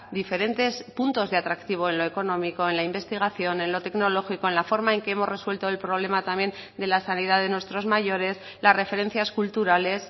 diferentes puntos de atractivo en lo económico en la investigación en lo tecnológico en la forma en que hemos resuelto el problema también de la sanidad de nuestros mayores las referencias culturales